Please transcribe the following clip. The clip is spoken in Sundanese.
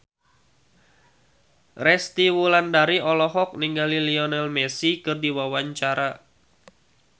Resty Wulandari olohok ningali Lionel Messi keur diwawancara